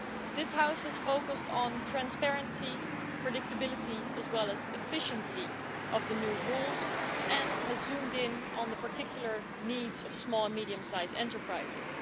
This house has focused on the transparency, predictability and efficiency of the new rules, and has zoomed in on the particular needs of small and medium sized enterprises.